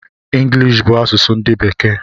Ngilishi bụ asụsụ ndi bekee